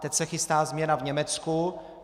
Teď se chystá změna v Německu.